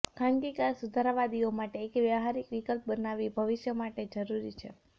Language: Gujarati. ખાનગી કાર સુધારાવાદીઓ માટે એક વ્યવહારિક વિકલ્પ બનાવી ભવિષ્ય માટે જરૂરી છે